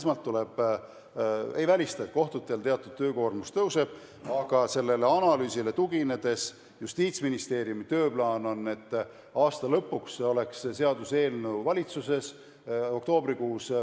Ma ei välista, et kohtutel teatud töökoormus tõuseb, aga sellele analüüsile tuginedes on Justiitsministeeriumi tööplaan selline, et aasta lõpuks oleks see seaduseelnõu valitsuses.